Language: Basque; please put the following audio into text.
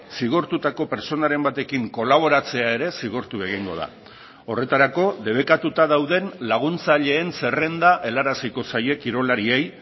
zigortutako pertsonaren batekin kolaboratzea ere zigortu egingo da horretarako debekatuta dauden laguntzaileen zerrenda helaraziko zaie kirolariei